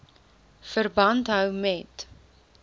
verband hou met